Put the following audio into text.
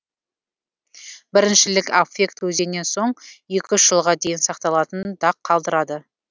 біріншілік аффект өзінен соң екі үш жылға дейін сақталатын дақ қалтырады